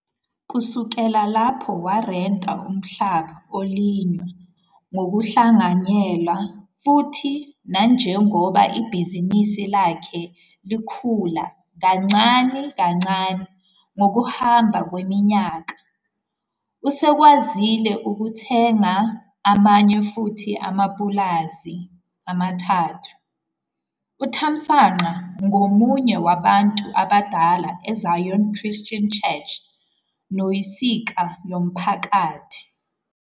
Kusukela lapho warenta umhlaba olinywa ngokuhlanganyela futhi nanjengoba ibhizinisi lakhe likhula kancane kancane ngokuhamba kweminyaka, usekwazile ukuthenga amanye futhi amapulazi amathathu. UThamsanqa ngomunye wabantu abadala e-Zion Christian Church noyinsika yomphakathi.